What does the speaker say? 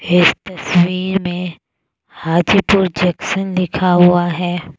इस तस्वीर में हाजीपुर जंक्शन लिखा हुआ है।